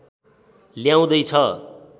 ल्याउँदै छ